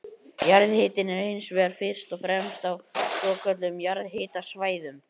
Jarðhitinn er hins vegar fyrst og fremst á svokölluðum jarðhitasvæðum.